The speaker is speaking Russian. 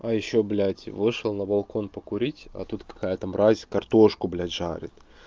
а ещё блядь вышел на балкон покурить а тут какая-то мразь картошку блядь жарит